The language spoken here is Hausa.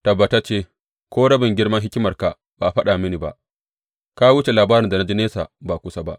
Tabbatacce, ko rabin girman hikimarka ba a faɗa mini ba, ka wuce labarin da na ji nesa ba kusa ba.